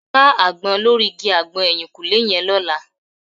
Ká àgbọn lórí igi àgbọn ẹ̀yìnkùlẹ́ yẹn lọ́la